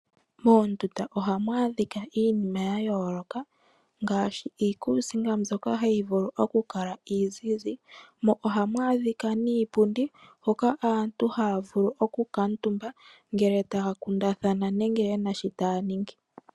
Moondunda ohamu adhika iinima ya yooloka ngaashi iikusinga mbyoka hayi vulu oku kala iizizi mo ohamu adhika niipundi hoka aantu haya vulu oku kuutumba ngele taya kundathana nenge yena shi taya ningi.